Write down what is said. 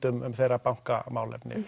um þeirra